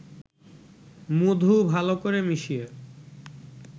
মধু ভালো করে মিশিয়ে